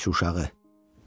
Dirançuşağı!